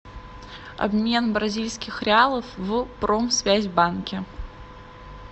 обмен бразильских реалов в промсвязьбанке